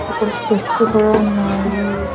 అక్కడ స్టెప్స్ కూడా ఉన్నాయి.